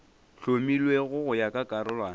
hlomilwego go ya ka karolwana